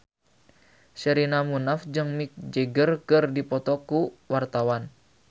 Sherina Munaf jeung Mick Jagger keur dipoto ku wartawan